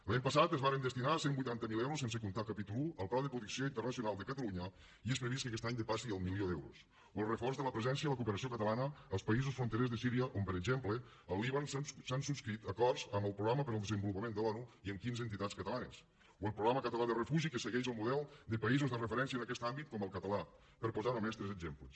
l’any passat es varen destinar cent i vuitanta miler euros sense comptar el capítol i al pla de protecció internacional a catalunya i és previst que aquest any depassi el milió d’euros o el reforç de la presència de la cooperació catalana als països fronterers de síria on per exemple al líban s’han subscrit acords amb el programa per al desenvolupament de l’onu i amb quinze entitats catalanes o el programa català de refugi que segueix el model de països de referència en aquest àmbit com el català per posar només tres exemples